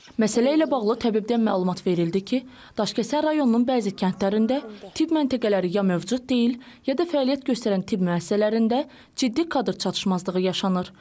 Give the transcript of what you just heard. Məsələ ilə bağlı təbibdən məlumat verildi ki, Daşkəsən rayonunun bəzi kəndlərində tibb məntəqələri ya mövcud deyil, ya da fəaliyyət göstərən tibb müəssisələrində ciddi kadr çatışmazlığı yaşanır.